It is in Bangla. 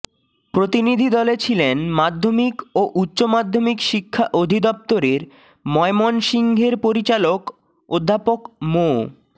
প্রতিনিধিদলে ছিলেন মাধ্যমিক ও উচ্চ মাধ্যমিক শিক্ষা অধিদপ্তরের ময়মনসিংহের পরিচালক অধ্যাপক মো